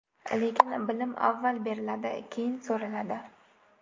Lekin bilim avval beriladi, keyin so‘raladi.